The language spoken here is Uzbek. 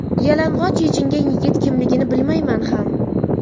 Yalang‘och yechingan yigit kimligini bilmayman ham.